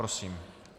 Prosím.